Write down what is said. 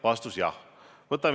Vastus: jah.